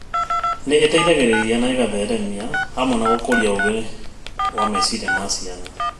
Nĩ ĩteithagĩrĩria na ĩgatheema/gũkũria ũgĩ wa meciria ma ciana.